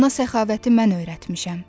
Ona səxavəti mən öyrətmişəm.